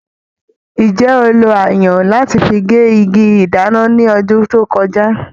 Ǹjẹ́ o lo ayùn láti fi gé igi ìdáná ní ọdún tó kọjá?